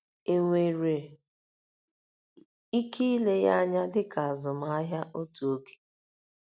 Enwere ike ile ya anya dị ka azụmahịa otu oge.